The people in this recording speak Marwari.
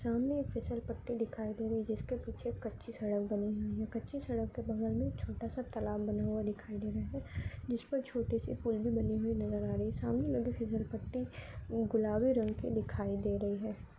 सामने एक फिसल पट्टी दिखाई दे रही है जिसके पीछे कच्ची सड़क बनी हुई है कच्ची सड़क के बगल मे छोटा सा तालाब बना हुआ दिखाई दे रहा है जिस पर छोटी सी कुंडी बनी हुई नजर आ रही है सामने लगी फिसल पट्टी गुलाबी रंग की दिखाई दे रही है।